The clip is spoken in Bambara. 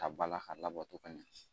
Ka bala ka labɔ cogo min